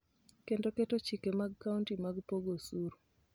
kendo keto chike mag kaonti mag pogo osuru